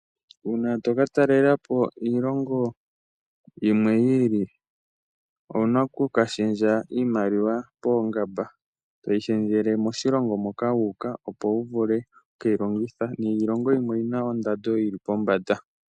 Uuna toka talela po iilongo yimwe yiili owuna okushendja iimaliwa poongamba moshilongo moka wuuka, opo wu vule okukeyi longitha. Iilongo yimwe oyina ondando yili pombanda.